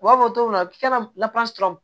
U b'a fɔ cogo min na k'i ka